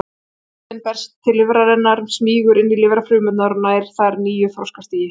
Sýkillinn berst til lifrarinnar, smýgur inn í lifrarfrumurnar og nær þar nýju þroskastigi.